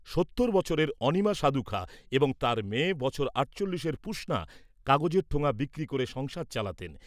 সত্তর বছরের অণিমা সাধুখাঁ এবং তাঁর মেয়ে বছর আটচল্লিশের পুষণা কাগজের ঠোঙা বিক্রি করে সংসার চালাতেন।